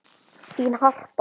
Þín, Harpa.